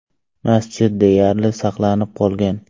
Masjid deyarli saqlanib qolgan.